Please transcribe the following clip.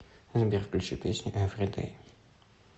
сбер включи песню эвридей